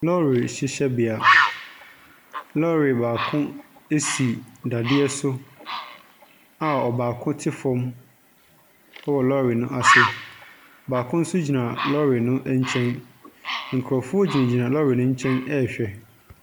Lɔre hyehyɛbea. Lɔre baako si dadeɛ so a ɔbaako te fam wɔ lɔre no ase. Baako nso gyina lɔre no nkyɛn. Nkurɔfoɔ gyingyina lɔre no nkyɛn rehwɛ.